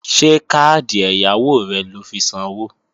Ṣé káàdì ẹ̀yáwó rẹ lọ fi sanwó?